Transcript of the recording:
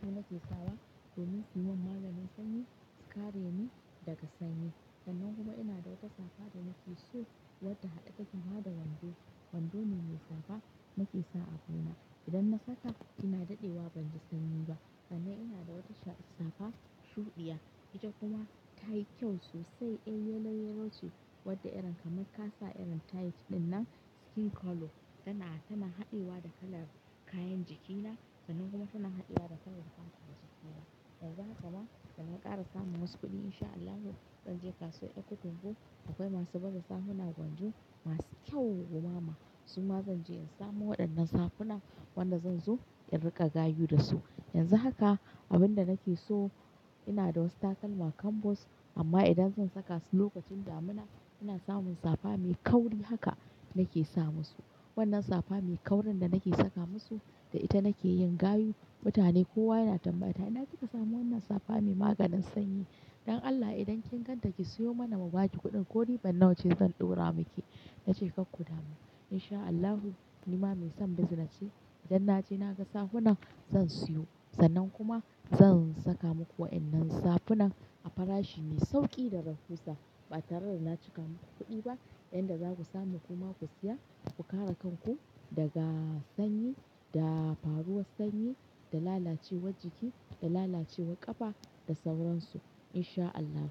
su nake sawa domin su mun maganin sanyi su kare ni daga sanyi. Sannan kuma ina da wata safa da nake so wadda haɗe take ma wando. Wando ne mai safa nake sa a buna. Idan na saka ina daɗewa ban ji sanyi ba. Sannan ina da wata shaf-safa shuɗiya ita kuma ta yi kyau sosai. Eh, yellow yellow ce wadda irin kamar ka sa irin tight ɗinnan skin color. Tana haɗewa da kalar kayan jikina sannan kuma tana haɗewa da kalar fatar jikina. Yanzu haka ma dana ƙara samun wasu kuɗi in sha Allahu zan je kasuwar Ekitin bu akwai masu baza safuna gwanjo masu kyau gumama. Su ma zan je in samo waɗannan safuna wanda zan zo in riƙa gayu da su. Yanzu haka abin da nake so ina da wasu takalma kambos amma idan zan saka su lokacin damina ina samun safa mai kauri haka nake samu su. Wannan safa mai kaurin da nake saka musu da ita nake yin gayu. Mutane kowa yana tambayata "ina kika samu wannan safa mai maganin sanyi? Don Allah idan kin ganta ki siyo mana mu ba ki kuɗin ko riban nawa ce zan ɗora miki." Na ce "Kar ku damu." In sha Allahu ni ma mai son business ce idan na je naga safuna zan siyo sannan kuma zan saka muku wa'yannan safunan a farashi mai sauƙi da rahusa ba tare da na cika muku kuɗi ba. Yan da za ku samu kuma ku siya ku kare kanku daga sanyi, da faruwar sanyi, da lalacewar jiki, da lalacewar ƙafa da sauransu in sha Allahu.